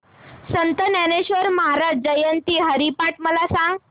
संत ज्ञानेश्वर महाराज जयंती हरिपाठ मला सांग